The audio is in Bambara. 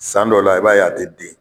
San dɔ la i b'a y'a tɛ den.